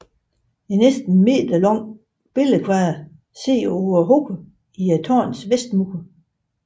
En næsten meterlang billedkvader sidder på hovedet i tårnets vestmur